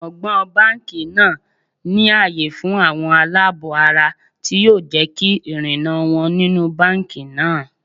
Gbọ̀ǹgbọ̀ǹ báńkì náà ní àyè fún àwọn aláàbọ̀-ara tí yóò jẹ́ kí ìrìnnà wọn nínú báńkì náà.